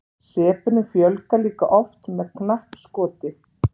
sepunum fjölgar líka oft með knappskoti